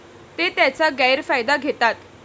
ते त्याचा गैरफायदा घेतात.